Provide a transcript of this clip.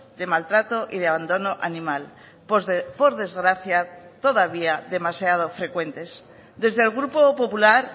de maltrato y de abandono animal por desgracia todavía demasiado frecuentes desde el grupo popular